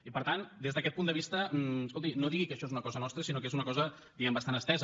i per tant des d’aquest punt de vista escolti no digui que això és una cosa nostra sinó que és una cosa bastant estesa